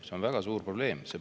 See on väga suur probleem!